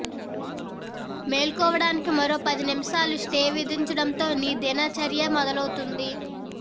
మేల్కొవడానికి మరో పది నిమిషాలు స్టే విధించడంతో నీ దిన చర్య మొదలవుతుంది